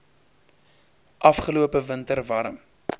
afgelope winter warm